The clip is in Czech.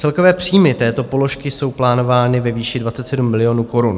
Celkové příjmy této položky jsou plánovány ve výši 27 milionů korun.